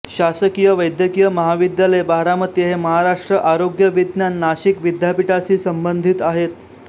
शासकीय वैद्यकीय महाविद्यालय बारामती हे महाराष्ट्र आरोग्य विज्ञान नाशिक विद्यापीठाशी संबंधित आहेत